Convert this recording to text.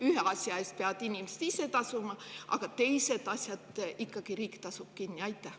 Ühe asja eest peavad inimesed ise tasuma, aga teised asjad maksab riik kinni.